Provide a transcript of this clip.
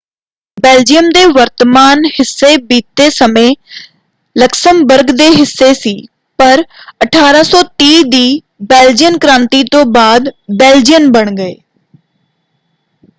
Belgium ਦੇ ਵਰਤਮਾਨ ਹਿੱਸੇ ਬੀਤੇ ਸਮੇਂ ਲਕਸਮਬਰਗ ਦੇ ਹਿੱਸੇ ਸੀ ਪਰ 1830 ਦੀ ਬੇਲਜੀਅਨ ਕ੍ਰਾਂਤੀ ਤੋਂ ਬਾਅਦ ਬੇਲਜੀਅਨ ਬਣ ਗਏ।